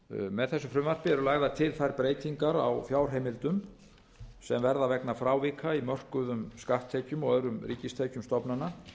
með þessu frumvarpi eru lagðar til þær breytingar á fjárheimildum sem verða vegna frávika í mörkuðum skatttekjum og öðrum ríkistekjum stofnana